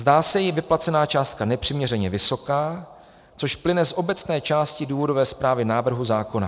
Zdá se jí vyplacená částka nepřiměřeně vysoká, což plyne z obecné části důvodové zprávy návrhu zákona.